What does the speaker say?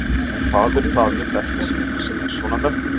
En hvað er það við þetta skegg sem er svona merkilegt?